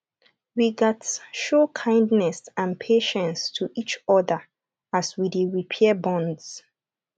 we gats show kindness and patience to each other as we dey repair bonds